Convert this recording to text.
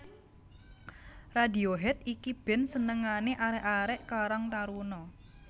Radiohead iki band senengane arek arek karang taruna